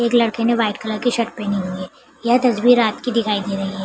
एक लड़के ने वाइट कलर की शर्ट पहनी हुई है यह तस्वीर रात की दिखाई दे रही है।